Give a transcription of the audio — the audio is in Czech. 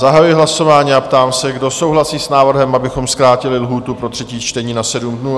Zahajuji hlasování a ptám se, kdo souhlasí s návrhem, abychom zkrátili lhůtu pro třetí čtení na 7 dnů?